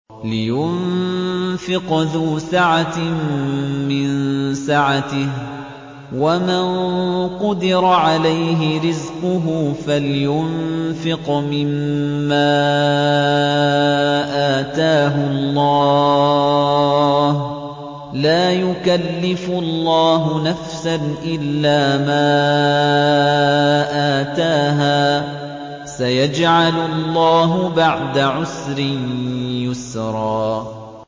لِيُنفِقْ ذُو سَعَةٍ مِّن سَعَتِهِ ۖ وَمَن قُدِرَ عَلَيْهِ رِزْقُهُ فَلْيُنفِقْ مِمَّا آتَاهُ اللَّهُ ۚ لَا يُكَلِّفُ اللَّهُ نَفْسًا إِلَّا مَا آتَاهَا ۚ سَيَجْعَلُ اللَّهُ بَعْدَ عُسْرٍ يُسْرًا